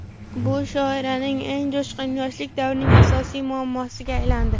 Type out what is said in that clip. Bu shoiraning eng jo‘shqin yoshlik davrining asosiy muammosiga aylandi.